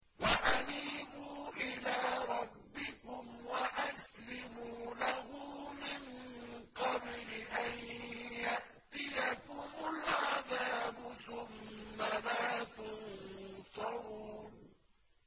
وَأَنِيبُوا إِلَىٰ رَبِّكُمْ وَأَسْلِمُوا لَهُ مِن قَبْلِ أَن يَأْتِيَكُمُ الْعَذَابُ ثُمَّ لَا تُنصَرُونَ